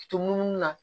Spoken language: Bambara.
Tomunu na